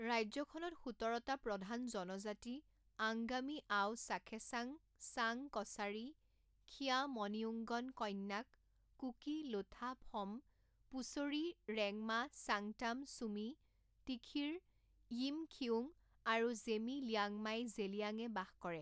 ৰাজ্যখনত সোতৰটা প্ৰধান জনজাতি আংগামী আও চাখেচাং চাং কচাৰী খিয়ামনিউঙ্গন কণ্যাক কুকি লোথা ফম পোচুৰী ৰেংমা চাংটাম চুমি টিখিৰ য়িমখিউং আৰু জেমি লিয়াংমাই জেলিয়াঙে বাস কৰে।